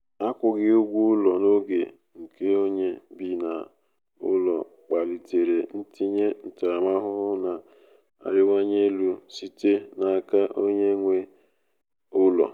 akwughi ụgwọ ụlọ n'oge nke onye bi n'ụlọ kpalitere ntinye ntaramahụhụ na-arịwanye elu site n'aka onye nwe onye nwe ụlọ.